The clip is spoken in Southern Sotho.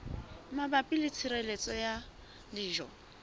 mabapi le tshireletso ya dijo